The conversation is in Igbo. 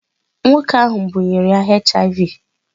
Nwoke ahụ bunyere ya HIV.